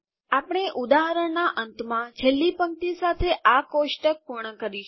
આપણે ઉદાહરણના અંતમાં છેલ્લી પંક્તિ સાથે આ કોષ્ટક પૂર્ણ કરીશું